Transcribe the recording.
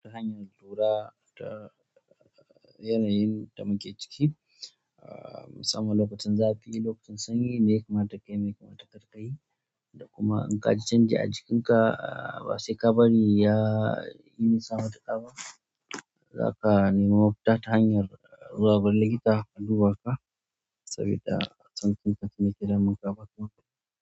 Ta hanyan tura ta yanayin da muke ciki, ah musamman lokacin zafi, lokacin sanyi, me yakamata kayi, me yakamta karkayi. Da kuma in ka ji canji a jikinka, ahh ba se ka bari ya yi nisa matuƙa ba, za ka nemi mafuta ta hanyar zuwa gurin likita a duba ka, sabida a san kuma kaji me yake damun ka a baka maga.